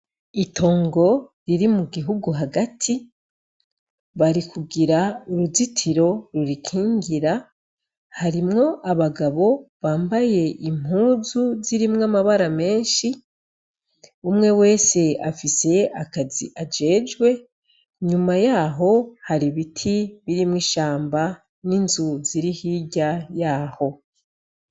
Itongo riri mu gihugu hagati barikugira uruzitiro rurikingira, harimwo abagabo bambaye impuzu zirimwo amabara menshi, umwe wese afise akazi ajejwe, inyuma yaho hari ibiti birimwo ishamba n'inzu ziri hirya yaho.